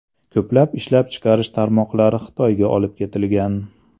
Ko‘plab ishlab chiqarish tarmoqlari Xitoyga olib ketilgan.